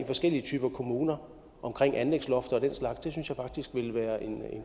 forskellige typer af kommuner omkring anlægsloft og den slags synes jeg faktisk ville være en